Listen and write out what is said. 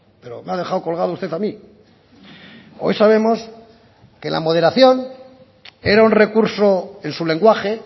pero me ha dejado colgado usted a mí hoy sabemos que la moderación era un recurso en su lenguaje